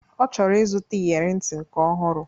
Ọ chọrọ ịzụta iyere ntị nke ọhụrụ